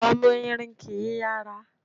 Ọmọ Erin kìí yàrá